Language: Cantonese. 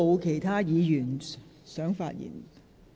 葛珮帆議員，請發言。